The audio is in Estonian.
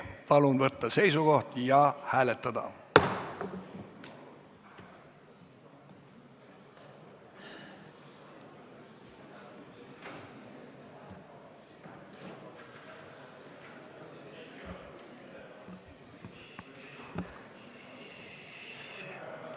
Palun võtta seisukoht ja hääletada!